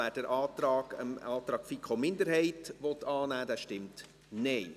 wer den Antrag FiKo-Minderheit annehmen will, stimmt Nein.